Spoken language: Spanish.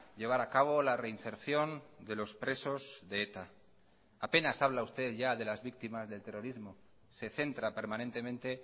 llevar a cabo la reinserción de los presos de eta apenas habla usted ya de las víctimas del terrorismo se centra permanentemente